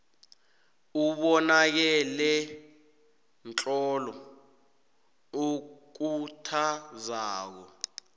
ubonakelemtlolo okhuthazako